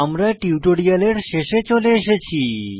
আমরা টিউটোরিয়ালে শেষে চলে এসেছি